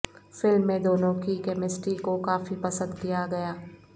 film میں دونوں کی کیمسٹری کو کافی پسند کیا گیا